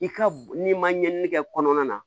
I ka n'i ma ɲinini kɛ kɔnɔna na